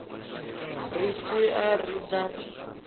ri si a ri na